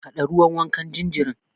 Haɗa ruwan wankan jinjirin.